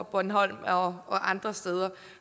bornholm og andre steder